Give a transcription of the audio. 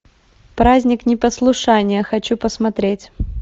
праздник непослушания хочу посмотреть